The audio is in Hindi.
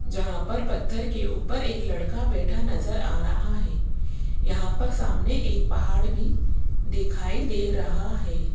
जहां पर पत्थर के ऊपर एक लड़का बैठा नजर आ रहा है यहां पर सामने एक पहाड़ भी दिखाई दे रहा है।